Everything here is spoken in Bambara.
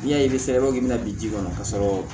N'i y'a ye i b'a fɔ k'i bɛna bin kɔnɔ ka sɔrɔ